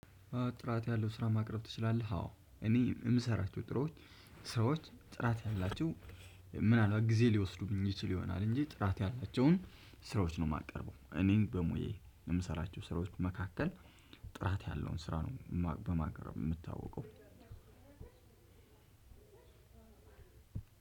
ጥራት ያለው ስራ ማቅረብ ትችላለህ? አዎ እኔ የምሰራቸው ስራዎች። ጥራት ያላቸው ምን አልባት ጊዜ ሊወስዱብኝ ይችሉ ይሆናል እንጂ ጥራት ያላቸውን ስራዎች ነው የማቀርበው። እኔን በሙያዬ ለምሰራቸው ስራዎች መካከል። ጥራት ያለውን ስራ ነው በማቅረብ የምታወቀው። አንድ